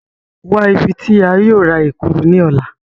Wa ibi ti a yóò ra Ekuru ni ọla!